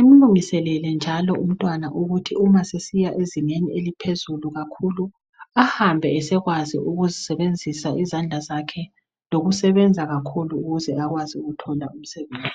imlungiselele njalo umntwana ukuthi nxa sesiya ezingeni eliphezulu kakhulu ahambe esekwazi ukuzisebenzisa izandla zakhe lokusebenza kakhulu ukuze akwazi ukuthola umsebenzi